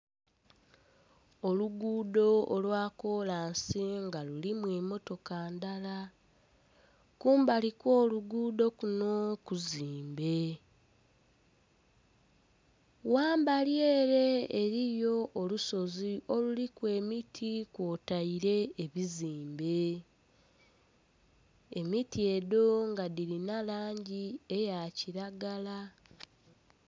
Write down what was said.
Oluguudo olwa kolansi nga lulimu emotoka ndhala kumbali okw'oluguudo kuno kuzimbe ghamberi ere eriyo olusozi oluliku emiti kwotaire ebizimbe emiti edho nga dhirina langi eya kiragala.